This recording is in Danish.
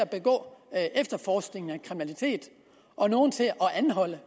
at forestå efterforskningen af kriminaliteten og nogle til at anholde